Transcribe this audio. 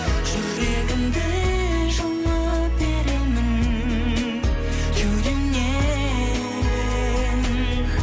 жүрегімді жұлып беремін кеудемнен